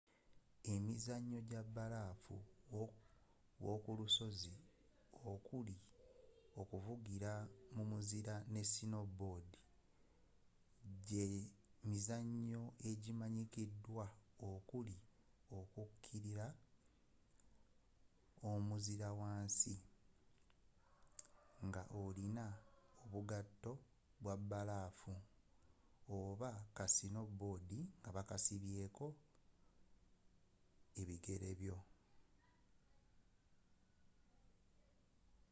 emizannyo gya bbalaafu w'okulusozi okuli okuvugira mu muzira ne snowboarding gye mizannyo egimanyikiddwa okuli okukirira omuzira wansi nga olina obugatto bwa bbalaafu oba ka snowboard nga bakasibye ku bigere byo